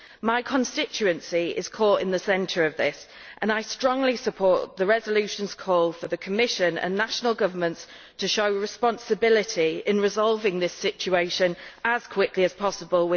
My constituency is caught in the centre of this, and I strongly support the resolution's call for the Commission and national governments to show responsibility in resolving this situation as quickly as possible.